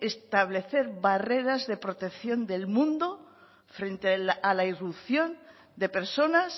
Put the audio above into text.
establecer barreras de protección del mundo frente a la irrupción de personas